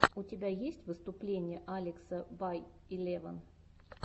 у тебя есть выступление алекса бай илевн